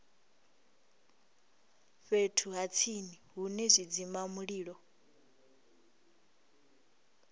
fhethu ha tsini hune zwidzimamulilo